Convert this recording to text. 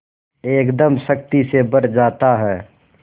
एकदम शक्ति से भर जाता है